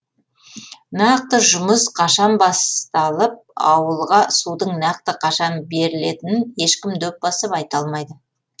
нақты жұмыс қашан басаталып ауылға судың нақты қашан берілетінін ешкім дөп басып айта алмайды